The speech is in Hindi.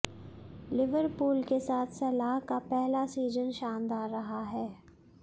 लिवरपूल के साथ सलाह का पहला सीजन शानदार रहा है